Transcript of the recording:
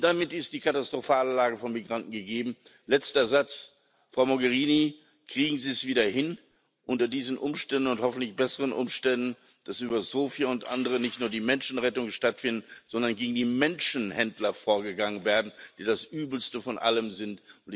Und damit ist die katastrophale Lage von Migranten gegeben. Frau Mogherini, kriegen Sie es wieder hin, unter diesen Umständen und hoffentlich unter besseren Umständen, dass über Sophia und andere nicht nur die Menschenrettung stattfindet, sondern gegen die Menschenhändler vorgegangen wird, die das Übelste von allem sind!